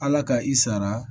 Ala ka i sara